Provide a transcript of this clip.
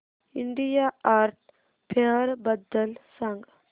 India art fair बद्दल सांग